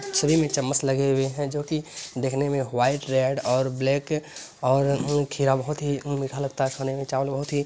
सभी में चम्मच लगे हुए हैं जोकि दिखने में वाइट रेड और ब्लैक और म्म खीरा बहोत ही म्म मीठा लगता है खाने में चावल बहोत ही --